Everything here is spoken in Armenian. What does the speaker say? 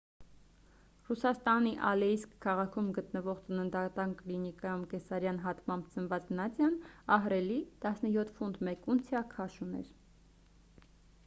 ռուսաստանի ալեիսկ քաղաքում գտնվող ծննդատան կլինիկայում կեսարյան հատմամբ ծնված նադյան ահռելի 17 ֆունտ 1 ունցիա քաշ ուներ